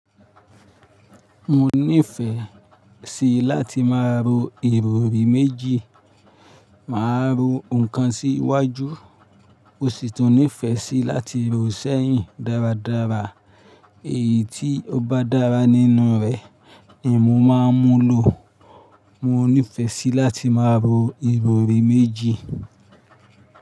Mo nífẹ̀ẹ́ sí láti máa ro ìrọrí méjì. Màá ro nǹkan sí iwájú, mò sì tùn nífẹ̀ẹ́ sí láti rò ó sẹ́yìn dáradára. Èyí tí ó bá dára nínú rẹ̀ ni mo máa ń mú lọ. Mo nífẹ̀ẹ́ sí láti máa ro ìrọrí méjì.